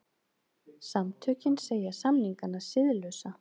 Samtökin segja samningana siðlausa